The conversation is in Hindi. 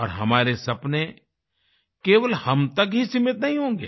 और हमारे सपने केवल हम तक ही सीमित नहीं होंगे